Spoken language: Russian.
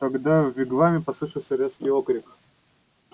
тогда в вигваме послышался резкий окрик